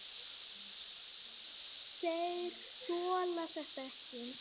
Þeir þola þetta ekki.